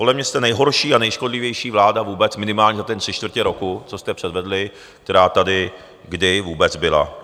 Podle mě jste nejhorší a nejškodlivější vláda vůbec minimálně za toho tři čtvrtě roku, co jste předvedli, která tady kdy vůbec byla.